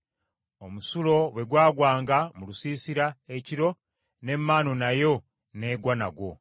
Omusulo bwe gwagwanga mu lusiisira ekiro n’emmaanu nayo n’egwa nagwo.